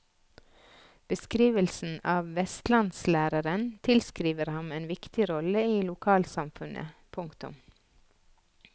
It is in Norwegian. Beskrivelsen av vestlandslæreren tilskriver ham en viktig rolle i lokalsamfunnet. punktum